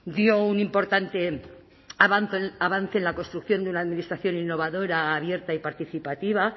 dio un importante avance en la construcción de una administración innovadora abierta y participativa